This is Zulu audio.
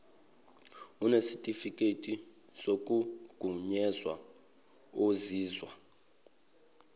onesitifiketi sokugunyazwa ozizwa